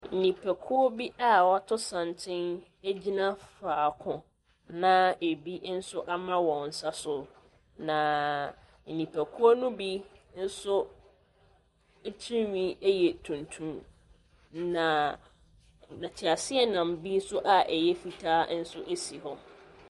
Nnipakuo bi a wɔato santen gyina faako, na ebi nso ama wɔn nsa so, na nnipakuo no bi nso tirinwi yɛ tuntum, na na teaseɛnam bi nso a ɛyɛ fitaa nso si hɔ.